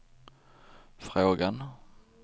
frågan